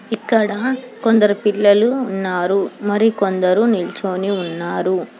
ఇక్కడ కొందరు పిల్లలు ఉన్నారు మరి కొందరు నిల్చొని ఉన్నారు.